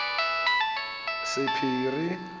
sephiri